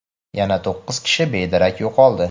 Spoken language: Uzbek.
yana to‘qqiz kishi bedarak yo‘qoldi.